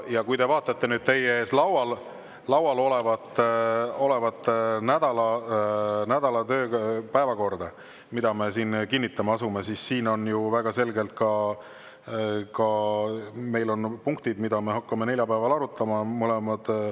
Ja kui te vaatate teie ees laual olevat nädala päevakorda, mida me siin kinnitama asume, siis siin on ju väga selgelt ka punktid, mida me hakkame neljapäeval arutama.